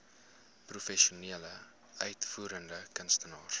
professionele uitvoerende kunstenaars